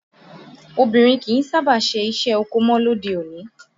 Obìnrin kìí sábà ṣe iṣẹ́ oko mọ lóde-òní